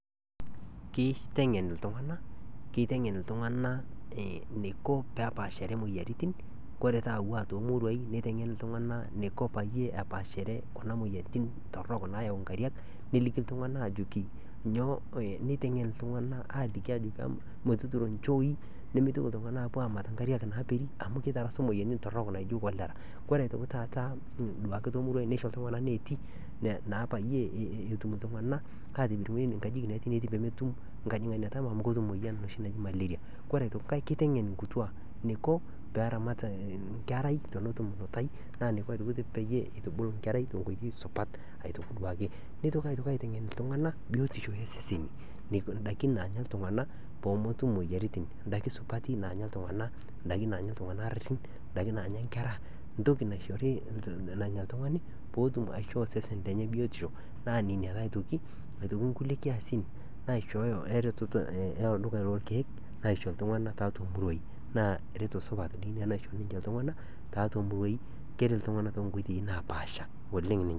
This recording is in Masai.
Kiteng'en iltung'anak eniko peepaashare moyiaritin kore paa tomuruain niteng'en iltung'anak eniko peyie epal shere kuna moyiaritin torhok naayau inkariak niteng'en iltung'anak ajoki netiu ironjoi nimitoki iltung'anak apuo aamat ingariak naaperi ami kitarasu imuoyiaritin torhok Ore aitoki taata nisho iltung'anak neeti naa peyie etum iltung'anak atipik ngajijik pee metum enoshi muoyian naji malaria ore enkai eniko peeramat ngerai neitubulu ngerai tenkoitoi supat, nitoki aitoki aitengen iltung'anak biyotishu eseseni, in'daiki naanya iltung'anak peemetum imuoyiaritin In'daiki supati naanya iltung'anak, in'daiki naanya ngera ,entoki naishori nanya oltungani peetum aishoo sesen lenya biyotishu naa ninye ake aitoki naishooyo elduka lorkeek aisho ltunganak tiatua muruain naa reto supat ina Keret iltung'anak toonkoitoi napaasha oleng ninye